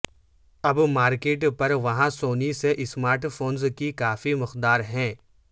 اب مارکیٹ پر وہاں سونی سے اسمارٹ فونز کی کافی مقدار ہے